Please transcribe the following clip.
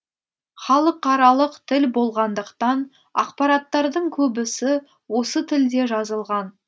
халықаралық тіл болғандықтан ақпараттардың көбісі осы тілде жазылған